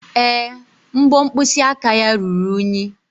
Èé, mbọ mkpịsị aka ya ruru unyi.